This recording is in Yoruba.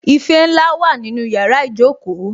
Ife ńlá wà nínú yàrá ìjókòó